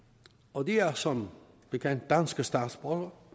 og de er som bekendt danske statsborgere